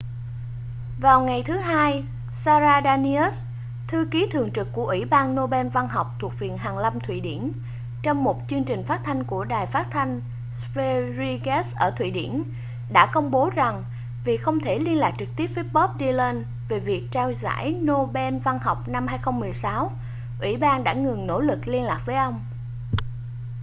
vào ngày thứ hai sara danius thư ký thường trực của ủy ban nobel văn học thuộc viện hàn lâm thụy điển trong một chương trình phát thanh của đài phát thanh sveriges ở thụy điển đã công bố rằng vì không thể liên lạc trực tiếp với bob dylan về việc trao giải nobel văn học năm 2016 ủy ban đã ngừng nỗ lực liên lạc với ông